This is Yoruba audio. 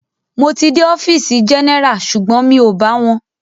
Mo ti dé ọfìsì general sugbon mi o bá wọn.